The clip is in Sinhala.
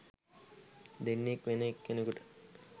දෙන්නෙත් වෙන එක්කෙනෙකුට